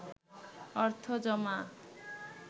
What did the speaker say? অর্থ জমা